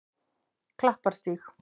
Klapparstíg